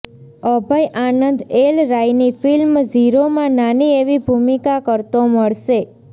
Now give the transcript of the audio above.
અભય Anand L રાયની film ઝીરોમાં નાની એવી ભૂમિકા કરતો મળશે